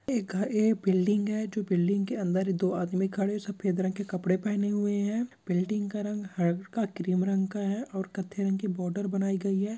एक घर और एक बिल्डिंग है जो बिल्डिंग के अंदर दो आदमी खड़े सफेद रंग के कपड़े पहने हुए हैं बिल्डिंग का रंग हल्का ग्रे रंग का है और क कत्तथे रंग के बॉर्डर बनाई गई है|